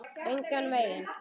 Engan veginn